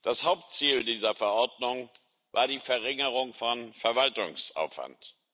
Das Hauptziel dieser Verordnung war die Verringerung von Verwaltungsaufwand.